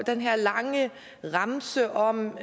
den her lange remse om